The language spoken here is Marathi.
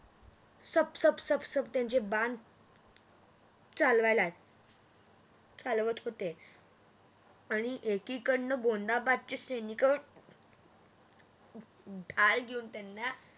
सप सप सप त्यांचे बाण चालवत चालवत होते आणि एकीकडण गोंदाबादचे सैनिक ढाल घेऊन त्यांना